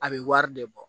A bɛ wari de bɔ